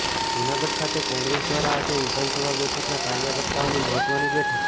જૂનાગઢ ખાતે કોંગ્રેસ દ્વારા આજે વિધાનસભા બેઠકના કાર્યકર્તાઓની મહત્ત્વની બેઠક